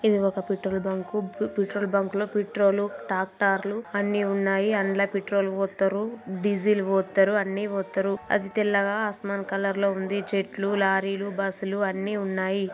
ఇది ఒక petrol bunk petrol బంకులో పెట్రోలు ట్రాక్టర్లు అన్ని ఉన్నాయి అన్లా పెట్రోలు పొత్తారు డీజిల్ పోత్తారు అన్నీ పోత్తారు అది తెల్లగా ఆస్మాన్ కలర్ లో ఉంది చెట్లు లారీలు బస్సులు అన్నీ ఉన్నాయి